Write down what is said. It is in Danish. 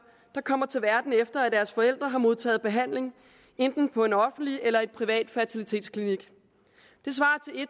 der kommer til verden efter at deres forældre har modtaget behandling enten på en offentlig eller en privat fertilitetsklinik